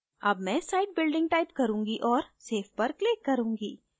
अब मैं site building type करूँगी और save पर click करें